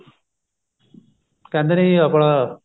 ਕਹਿੰਦੇ ਨੇ ਜੀ ਆਪਣਾ